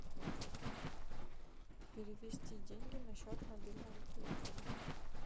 перевести деньги на счет мобильного телефона